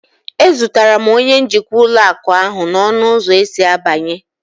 E zutere m onye njikwa ụlọ akụ ahu n'ọnụ ụzọ esi abanye